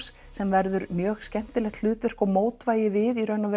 sem verður mjög skemmtilegt hlutverk og mótvægi við í raun